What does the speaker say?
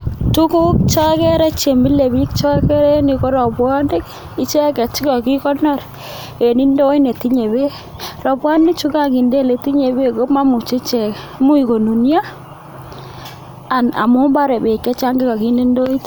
Tuguk cheokere chemile biik en yuuko robwoniki icheget chu kakikonor en indoit netinye beek robwoni chuu kukonkinde eletinye beek ko momuche icheek imuch kununiot amun bore beek chechang kokinde ndoit